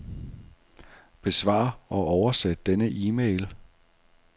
Besvar og oversæt denne e-mail.